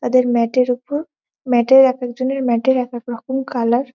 এদের ম্যাট এর উপর ম্যাট এর এক একজনের ম্যাট এর এক এক রকম কালার ।